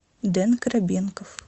дэн коробенков